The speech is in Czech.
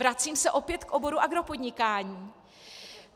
Vracím se opět k oboru agropodnikání.